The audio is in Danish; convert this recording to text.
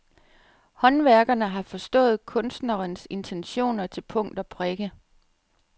Håndværkerne har forstået kunstnerens intentioner til punkt og prikke.